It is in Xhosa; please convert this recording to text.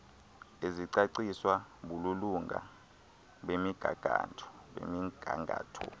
ezicaciswa bubulunga bemigangatho